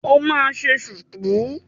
O máa ṣe ṣùkú.